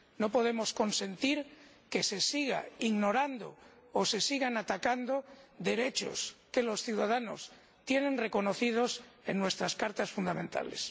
No podemos consentir que se sigan ignorando o se sigan atacando derechos que los ciudadanos tienen reconocidos en nuestros textos fundamentales.